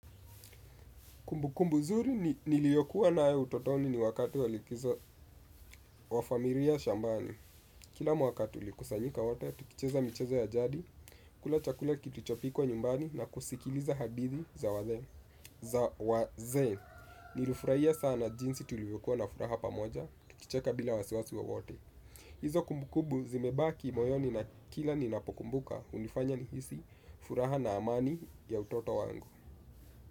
Kumbukumbu zuri niliyokuwa nayo utotoni ni wakati wa likizo wa familia shambani. Kila mwaka tulikusanyika wote, tukicheza michezo ya jadi, kula chakula kilichopikwa nyumbani na kusikiliza hadithi za wazee. Nilifurahia sana jinsi tulivyokuwa na furaha pamoja, tukicheka bila wasiwasi wowote. Hizo kumbukumbu zimebaki moyoni na kila ninapokumbuka hunifanya nihisi furaha na amani ya utoto wangu.